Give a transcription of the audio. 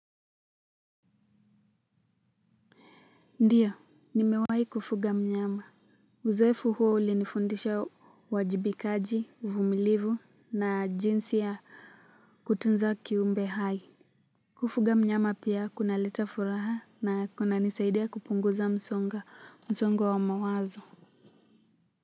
Ndiyo nimewahi kufuga mnyama uzoefu huo ulinifundisha uwajibikaji uvumilivu na jinsi ya kutunza kuimbe hai kufuga mnyama pia kunaleta furaha na kunanisaidia kupunguza msongo wa mawazo.